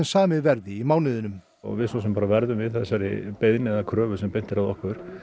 samið verði í mánuðinum við svo sem verðum við þessari kröfu sem er beint að okkur